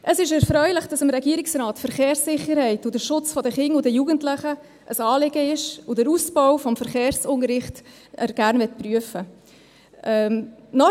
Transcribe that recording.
Es ist erfreulich, dass dem Regierungsrat die Verkehrssicherheit und der Schutz der Kinder und Jugendlichen ein Anliegen ist und er den Ausbau des Verkehrsunterrichts gerne prüfen möchte.